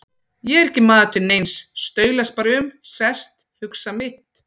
Ég er ekki maður til neins, staulast bara um, sest, hugsa mitt.